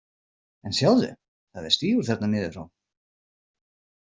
En sjáðu, það er stígur þarna niður frá.